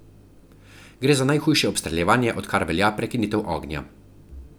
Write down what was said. Gre za najhujše obstreljevanje, odkar velja prekinitev ognja.